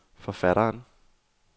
forfatteren